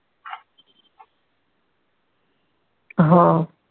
हा.